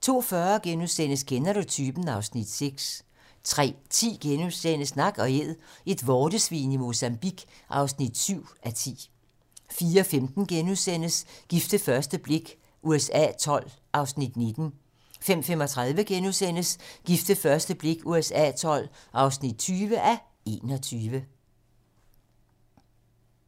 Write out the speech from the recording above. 02:40: Kender du typen? (Afs. 6)* 03:10: Nak & Æd - et vortesvin i Mozambique (7:10)* 04:15: Gift ved første blik USA XII (19:21)* 05:35: Gift ved første blik USA XII (20:21)*